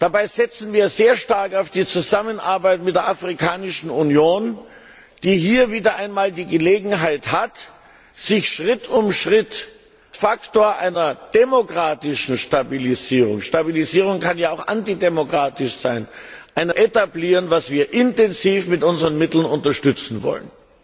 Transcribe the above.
Dabei setzen wir sehr stark auf die Zusammenarbeit mit der Afrikanischen Union, die hier wieder einmal die Gelegenheit hat, sich Schritt um Schritt als Faktor einer demokratischen Stabilisierung Stabilisierung kann ja auch antidemokratisch sein zu etablieren, was wir intensiv mit unseren Mitteln unterstützen wollen.